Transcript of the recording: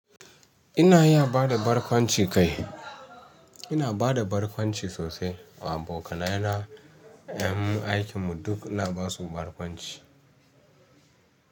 Ina ya bada barkwanci kai ina bada barkwanci sosai wa abokanai na, 'yan mu aikin mu duk ina basu barkwanci.